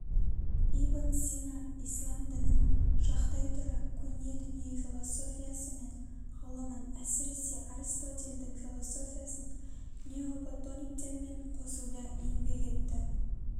ибн сина ислам дінін жақтай тұра көне дүние философиясы мен ғылымын әсіресе аристотельдің философиясын неоплатониктермен қосуда еңбек етті